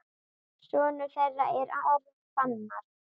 Sonur þeirra er Aron Fannar.